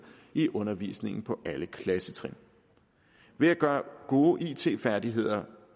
i undervisningen på alle klassetrin ved at gøre gode it færdigheder